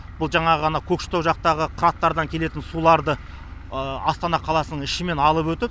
бұл жаңағы анау көкшетау жақтағы қыраттардан келетін суларды астана қаласының ішімен алып өтіп